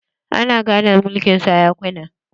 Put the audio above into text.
Ana gadon mulkin sarakuna